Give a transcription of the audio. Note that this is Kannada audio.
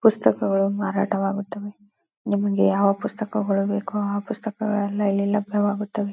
ಪುಸ್ತಕಗಳು ಮಾರಾಟ ವಾಗುತ್ತವೆ ನಿಮಗೆ ಯಾವ ಪುಸ್ತಕಗಳು ಬೇಕು ಆ ಪುಸ್ತಕಗಳೆಲ್ಲ ಇಲ್ಲಿ ಲಭ್ಯವಾಗುತ್ತದೆ.